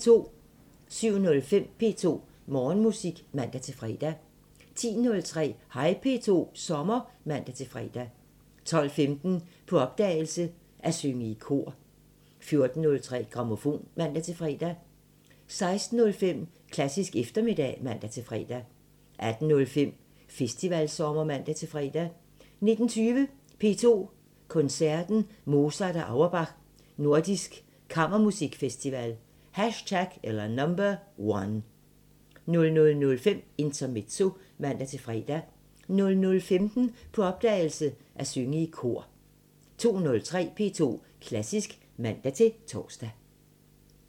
07:05: P2 Morgenmusik (man-fre) 10:03: Hej P2 – sommer (man-fre) 12:15: På opdagelse – At synge i kor 14:03: Grammofon (man-fre) 16:05: Klassisk eftermiddag (man-fre) 18:05: Festivalsommer (man-fre) 19:20: P2 Koncerten Mozart og Auerbach – Nordisk Kammermusikfestival #1 00:05: Intermezzo (man-fre) 00:15: På opdagelse – At synge i kor 02:03: P2 Klassisk (man-tor)